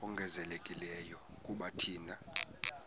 ongezelelekileyo kuba thina